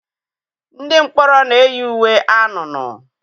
Ndị mkpọrọ na-eyi uwe anunuu.